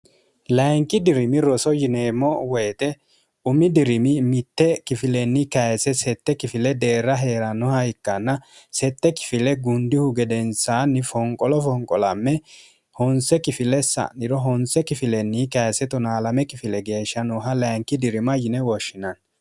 layinki dirimi roso yineemmo woyite umi dirimi mitte kifilenni kayise sette kifile deerra hee'rannoha ikkanna sette kifile gundihu gedensaanni fonqolo fonqolamme honse kifile sa'niro honse kifilnni kays 12 kifile geeshsha nooha layinki dirima yine woshshinanni